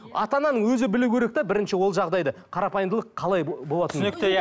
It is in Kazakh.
ата ананың өзі білу керек те бірінші ол жағдайды қарапайымдылық қалай болатынын түсінікті иә